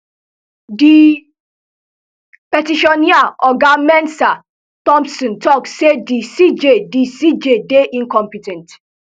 di petitioner oga mensah thompson tok say di cj di cj dey incompe ten t